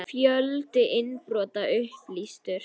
Fjöldi innbrota upplýstur